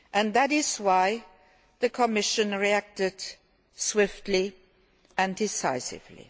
That is why the Commission reacted swiftly and decisively.